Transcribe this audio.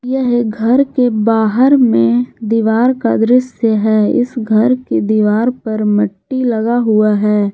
यह एक घर के बाहर में दीवार का दृश्य है इस घर की दीवार पर मट्टी लगा हुआ है।